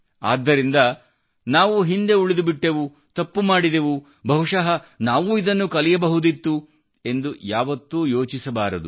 ಆದ್ದರಿಂದ ನಾವು ಹಿಂದೆ ಉಳಿದುಬಿಟ್ಟೆವು ತಪ್ಪು ಮಾಡಿದೆವು ಬಹುಶಃ ನಾವೂ ಇದನ್ನು ಕಲಿಯಬಹುದಿತ್ತು ಎಂದು ಯಾವತ್ತೂ ಯೋಚಿಸಬಾರದು